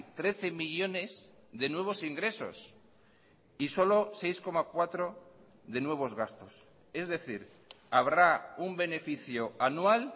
trece millónes de nuevos ingresos y solo seis coma cuatro de nuevos gastos es decir habrá un beneficio anual